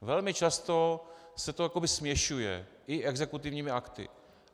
Velmi často se to jakoby směšuje i exekutivními akty.